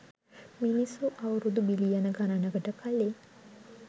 මිනිස්සු අවුරුදු බිලියන ගණනකට කලින්